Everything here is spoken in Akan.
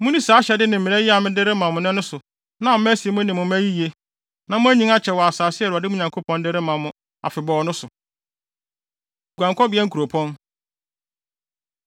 Munni saa ahyɛde ne mmara yi a mede rema mo nnɛ no so na ama asi mo ne mo mma yiye, na moanyin akyɛ wɔ asase a Awurade mo Nyankopɔn de rema mo afebɔɔ no so. Guankɔbea Nkuropɔn